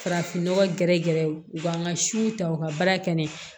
Farafin nɔgɔ gɛrɛ gɛrɛw u ka n ka siw ta u ka baara kɛ ne fɛ